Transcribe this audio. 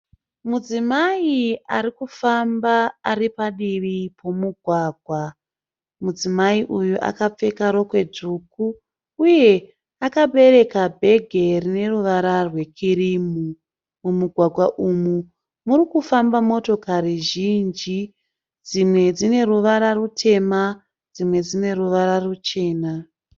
Mudzimai arikufamba ari padivi pomugwagwa. Mudzimai uyu akapfeka rokwe dzvuku uye akabereka bhegi rine ruvara rwekirimu. Mumugwagwa umu murikufamba motokari zhinji dzimwe dzine ruvara rutema dzimwe dzine ruvara ruchena.